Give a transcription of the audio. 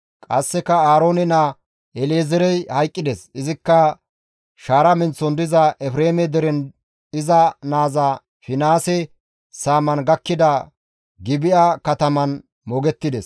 Qasseka Aaroone naa El7ezeerey hayqqides; izikka shaara menththon diza Efreeme deren iza naaza Finihaase saaman gakkida Gibi7a katamaan moogettides.